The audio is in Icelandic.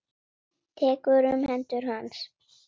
Tekur um hendur hans.